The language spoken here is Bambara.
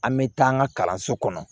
An bɛ taa an ka kalanso kɔnɔ